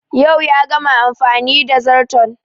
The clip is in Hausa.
Yau ya gama amfani da zarton